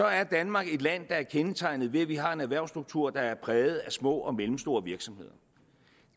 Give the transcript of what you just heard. er danmark et land der er kendetegnet ved at vi har en erhvervsstruktur der er præget af små og mellemstore virksomheder